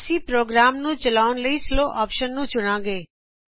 ਅਸੀ ਪ੍ਰ੍ਰਰੋਗਰਾਮ ਨੂੰ ਚਲਾਉਣ ਲਈ ਸਲੋ ਆਪਸ਼ਨ ਨੂੰ ਚੁਣਾਗੇ